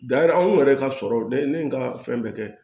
Da anw yɛrɛ ka sɔrɔ de ye n ka fɛn bɛɛ kɛ